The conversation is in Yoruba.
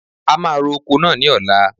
A máa ro oko náà ni ọ̀la.